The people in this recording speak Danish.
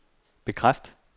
bekræft